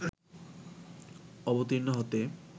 অবতীর্ণ হতে